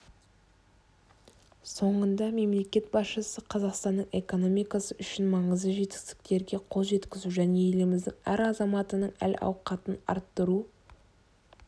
соңында мемлекет басшысы қазақстанның экономикасы үшін маңызды жетістіктерге қол жеткізу және еліміздің әр азаматының әл-ауқатын арттыру